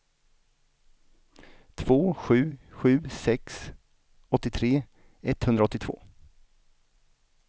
två sju sju sex åttiotre etthundraåttiotvå